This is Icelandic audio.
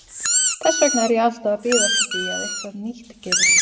Þess vegna er ég alltaf að bíða eftir því að eitthvað nýtt gerist.